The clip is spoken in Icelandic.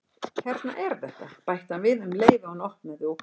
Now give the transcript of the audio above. Hérna er þetta- bætti hann við um leið og hann opnaði og kveikti.